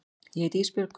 Ég heiti Ísbjörg.